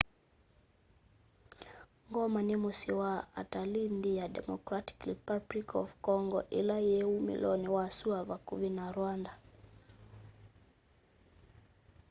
goma ni musyi wa atalii nthi ya democratic republic of congo ila yi umiloni wa sua vakuvi na rwanda